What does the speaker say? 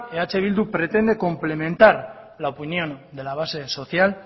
eh bildu pretende complementar la opinión de la base social